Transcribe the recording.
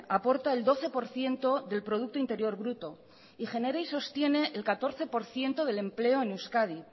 aporta el doce por ciento del producto interior bruto y genera y sostiene el catorce por ciento del empleo en euskadi